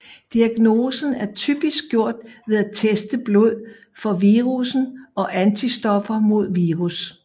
Diagnosen er typisk gjort ved at teste blod for virusen og antistoffer mod virus